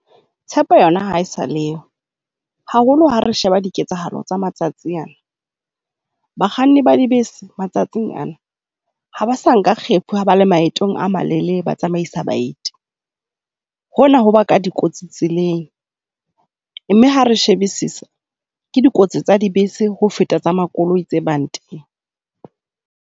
Tshepo yona ha e sa le yo, haholo ha re sheba diketsahalo tsa matsatsi ana. Bakganni ba dibese matsatsing ana ha ba sa nka kgefu ha ba le maetong a malelele, ba tsamaisa baeti. Hona ho ba ka dikotsi tseleng, mme ha re shebisisa ke dikotsi tsa dibese ho feta tsa makoloi tse bang teng.